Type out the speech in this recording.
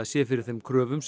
sé fyrir þessum kröfum